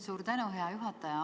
Suur tänu, hea juhataja!